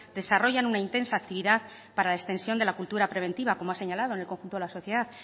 desarrollan una intensa actividad para distensión de la cultura preventiva como ha señalado en el conjunto de la sociedad